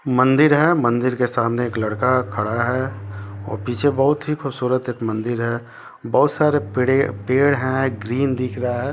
मंदिर है मंदिर के सामने एक लड़का खड़ा है और पीछे बोहोत ही खूबसूरत एक मंदिर है बोहोत सारे पेड़े पेड़ है ग्रीन दिख रहा है।